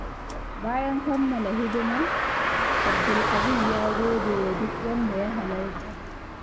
Bayan kammala hidima, Abdulaziz ya gode wa duk wanda ya halarta.